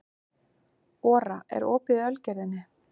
Ora, er opið í Ölgerðinni?